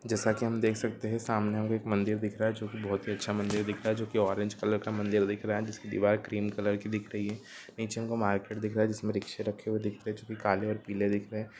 जेसा की हम देख सकते सामने हमे एक मंदिर दिख रहा है जोकि बहोत ही अच्छा मंदिर दिख रहा है जो की ऑरेंज कलर का मंदिर दिख रहा है जिसकी दीवाल क्रीम कलर की दिख रही है निचे मार्कट दिख रहा है जिसमे रिक्शा रख्खे हुई दिख रही हे जो की काले और पीले दिख रहे हैं।